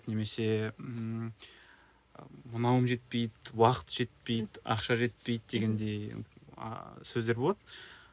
немесе ыыы мынауым жетпейді уақыт жетпейді ақша жетпейді дегендей ааа сөздер болады